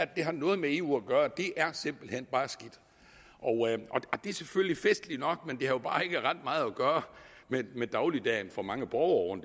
det har noget med eu at gøre er simpelt hen bare skidt og det er selvfølgelig festligt nok men det har jo bare ikke ret meget at gøre med dagligdagen for mange borgere